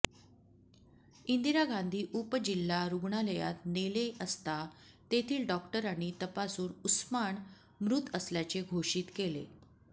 इंदिरा गांधी उपजिल्हा रुग्णालयात नेले असता तेथील डॉक्टरांनी तपासून उस्मान मृत असल्याचे घोषित केले